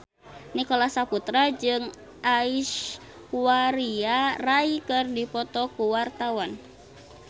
Nicholas Saputra jeung Aishwarya Rai keur dipoto ku wartawan